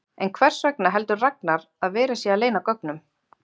En hvers vegna heldur Ragnar að verið sé að leyna gögnum?